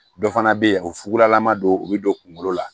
Dɔ fana bɛ yen o fugulama don u bɛ don kungolo la